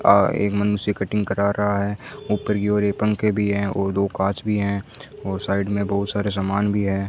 और एक मनुष्य कटिंग कर रहा है ऊपर की ओर ये पंखे भी है और दो कांच भी है और साइड में बहुत सारे सामान भी है।